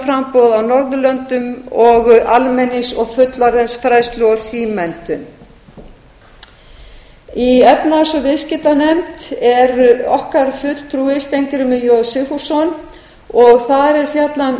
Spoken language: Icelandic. menntunarframboð á norðurlöndum almenningsfræðslu og fullorðinsfræðslu og símenntun í efnahags og viðskiptanefnd er okkar fulltrúi steingrímur j sigfússon og þar er fjallað um